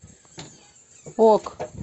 ок